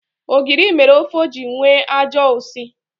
Ogiri mere ofe ji enwe ajọ usi.